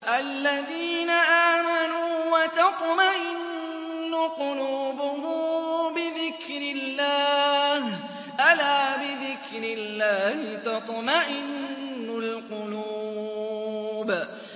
الَّذِينَ آمَنُوا وَتَطْمَئِنُّ قُلُوبُهُم بِذِكْرِ اللَّهِ ۗ أَلَا بِذِكْرِ اللَّهِ تَطْمَئِنُّ الْقُلُوبُ